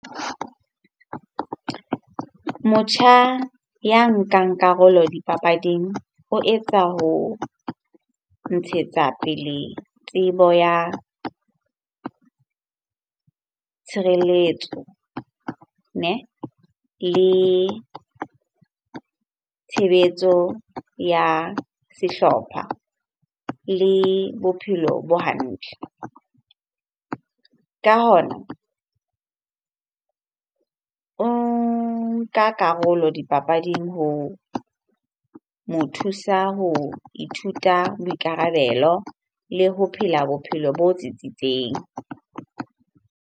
Motjha ya nkang karolo dipapading o etsa ho ntshetsa tsebo ya tshireletso neh? Le tshebetso ya sehlopha, le bophelo bo hantle. Ka hona, o nka karolo dipapading ho mo thusa ho nka boikarabelo le ho phela bophelo bo tsitsitseng.